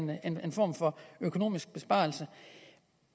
være en form for økonomisk besparelse